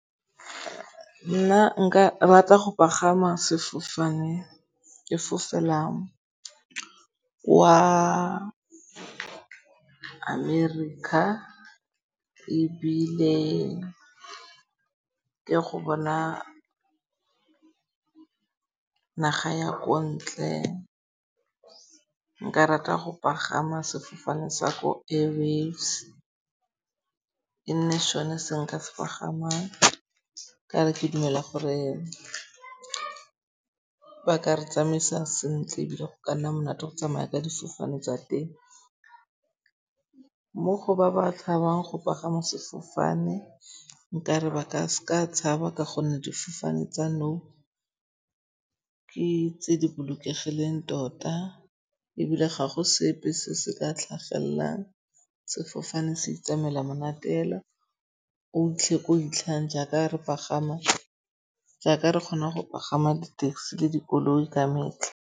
Nna nka rata go pagama sefofane ke fofela kwa America ebile ke e go bona e naga ya ko ntle. Nka rata go pagama sefofane sa ko Airwaves, e nne sone se nka se pagamang. Ka re ke dumela gore ba ka re tsamaisa sentle ebile go ka nna monate go tsamaya ka difofane tsa teng. Mo go ba ba tshabang go pagama sefofane, nkare ba ka s'ka tshaba ka gonne difofane tsa nou ke tse di bolokegileng tota ebile ga go sepe se se ka tlhagellang. Sefofane se itsamaela monate fela. O fitlhe ko o fitlhang jaaka re pagama, jaaka re kgonang go pagama di taxi le dikoloi ka metlha.